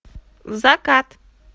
закат